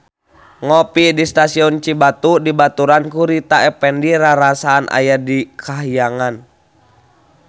Ngopi di Stasiun Cibatu dibaturan ku Rita Effendy rarasaan aya di kahyangan